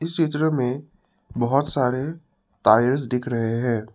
चित्र में बहोत सारे टायर्स दिख रहे हैं।